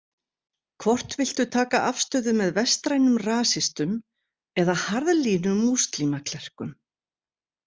Hvort viltu taka afstöðu með vestrænum rasistum eða harðlínumúslimaklerkum?